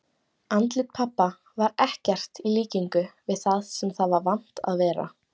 Andlit pabba var ekkert í líkingu við það sem það var vant að vera.